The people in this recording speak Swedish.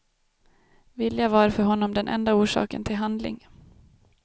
Vilja var för honom den enda orsaken till handling.